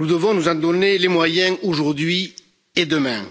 nous devons nous en donner les moyens, aujourd'hui et demain.